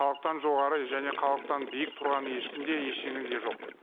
халықтан жоғары и және халықтан биік тұрған ешкім де ештеңе де жоқ